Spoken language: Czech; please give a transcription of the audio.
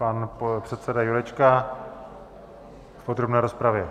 Pan předseda Jurečka v podrobné rozpravě.